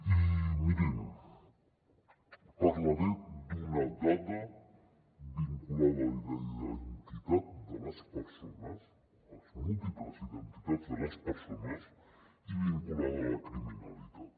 i mirin parlaré d’una dada vinculada a la identitat de les persones a les múltiples identitats de les persones i vinculada a la criminalitat